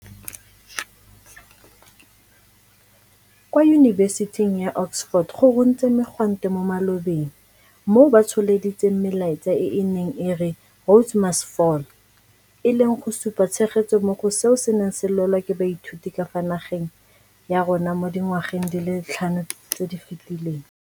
Kwa Yunibesiting ya Oxford go runtse megwanto mo malobeng moo batsholeditseng melaetsa e e neng e re, Rhodes must Fall, e leng go supa tshegetso mo go seo se neng se lwelwa ke baithuti ka fa nageng ya rona mo dingwageng di le tlhano tse di fetileng.